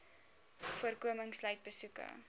voorkoming sluit besoeke